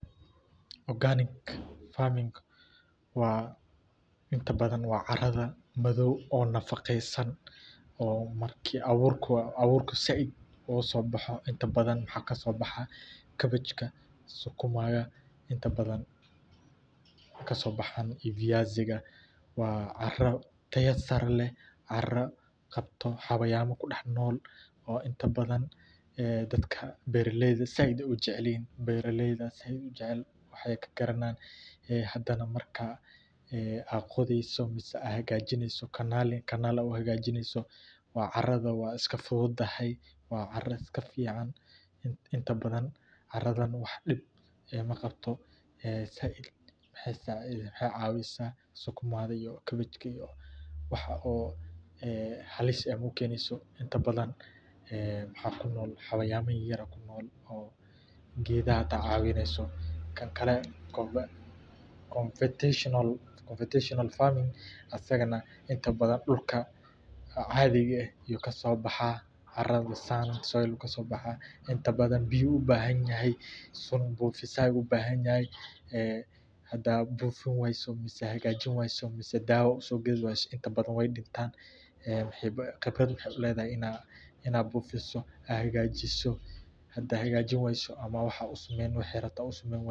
Organic farming waa inta badan waa caradha madow oo nafaqesan oo aburka said inta badan cabbejka sukumaga oo kasobaxan caro taya sare leh, beera leyda aya said ujecel, inta badan caradhan wax dib ah maqabto waxee cawisa kabejka ee halis ku keneysa xayawama yar yar , conventional farming asagana inta badan dulka ayu kaso baxa, hadaa bufin wayso oo hagajin wayso wey dimanayin waxee qebraad uledhahay in aa bufiso oo aa hagajin wayso.